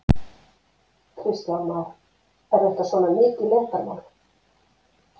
Kristján Már: Er þetta svona mikið leyndarmál?